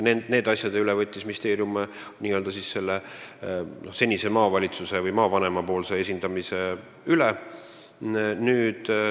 Ministeerium võttis nende asjade puhul seniste maavalitsuste või maavanemate töö üle.